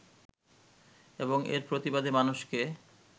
এবং এর প্রতিবাদে মানুষকে